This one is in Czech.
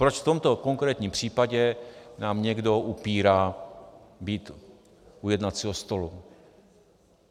Proč v tomto konkrétním případě nám někdo upírá být u jednacího stolu?